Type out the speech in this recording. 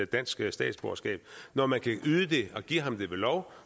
dansk statsborgerskab når man kan yde det og give ham det ved lov